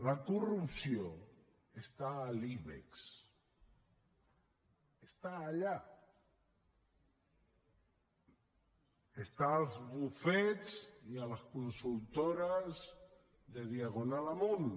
la corrupció està a l’ibex està allà està als bufets i a les consultores de diagonal amunt